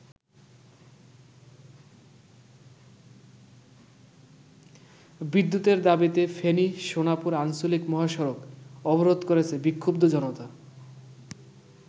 বিদ্যুতের দাবিতে ফেনী-সোনাপুর আঞ্চলিক মহসড়ক অবরোধ করেছে বিক্ষুদ্ধ জনতা।